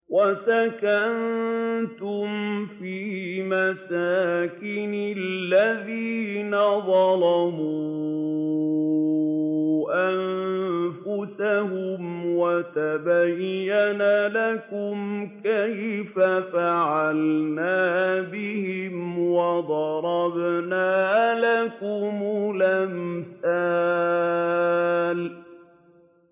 وَسَكَنتُمْ فِي مَسَاكِنِ الَّذِينَ ظَلَمُوا أَنفُسَهُمْ وَتَبَيَّنَ لَكُمْ كَيْفَ فَعَلْنَا بِهِمْ وَضَرَبْنَا لَكُمُ الْأَمْثَالَ